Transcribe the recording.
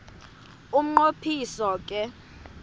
umnqo phiso ke